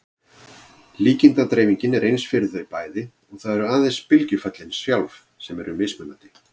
Líkindadreifingin er eins fyrir þau bæði og það eru aðeins bylgjuföllin sjálf sem eru mismunandi.